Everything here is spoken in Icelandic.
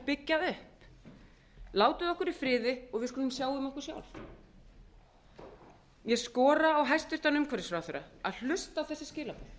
byggja upp látið okkur í friði og við skulum sjá um okkur sjálf ég skora á hæstvirtur umhverfisráðherra að hlusta á þessi skilaboð